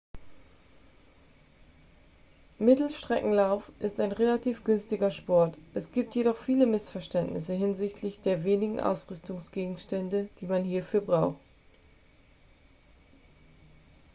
mittelstreckenlauf ist ein relativ günstiger sport es gibt jedoch viele missverständnisse hinsichtlich der wenigen ausrüstungsgegenstände die man hierfür braucht